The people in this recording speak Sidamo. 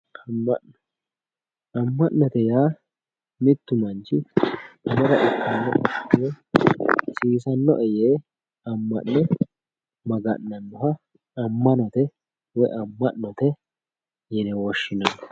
amma'no amma'note yaa anera kkannoe yee, hasiisannoe yee amma'ne maga'nanoha amma'nate woy amma'note yine woshhsinanni.